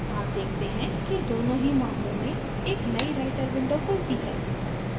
आप देखते हैं कि दोनों ही मामलों में एक नई writer window खुलती है